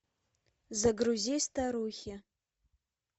загрузи старухи